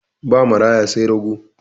Ba maraya sai rago.